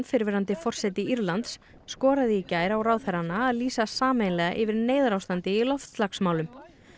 fyrrverandi forseti Írlands skoraði í gær á ráðherrana að lýsa sameiginlega yfir neyðarástandi í loftslagsmálum